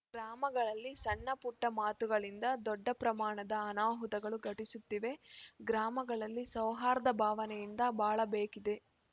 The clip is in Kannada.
ಗ್ರಾಮಗಳಲ್ಲಿ ಸಣ್ಣಪುಟ್ಟಮಾತುಗಳಿಂದ ದೊಡ್ಡ ಪ್ರಮಾಣದ ಅನಾಹುತಗಳು ಘಟಿಸುತ್ತಿವೆ ಗ್ರಾಮಗಳಲ್ಲಿ ಸೌಹಾರ್ಧ ಭಾವನೆಯಿಂದ ಬಾಳಬೇಕಿದೆ